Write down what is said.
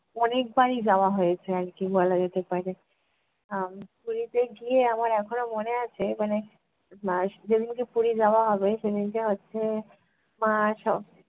অনেকবারই যাওয়া হয়েছে আর কী বলা যেতে পারে। আহ পুরীতে গিয়ে আমার এখনো মনে আছে মানে যেদিনকে পুরী যাওয়া হবে সেদিনকে হচ্ছে